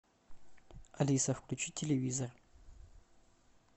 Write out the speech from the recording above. алиса включи телевизор